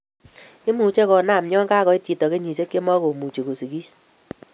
Imuche konam yan kakoit chito kenyisiek chemokumuchi kosigis